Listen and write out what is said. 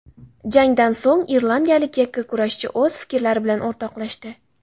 Jangdan so‘ng irlandiyalik yakkakurashchi o‘z fikrlari bilan o‘rtoqlashdi .